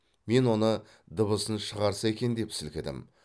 мен оны дыбысын шығарса екен деп сілкідім